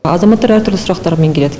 азамататар әр түрлі сұрақтармен келеді